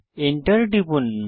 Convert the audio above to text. enter টিপুন